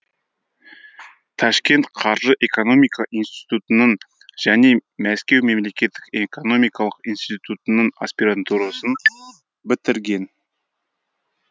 ташкент қаржы экономика институтының және мәскеу мемлекеттік экономикалық институттының аспирантурасын бітірген